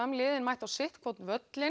liðin mættu á sitthvorn völlinn